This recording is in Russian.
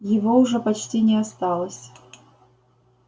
его уже почти не осталось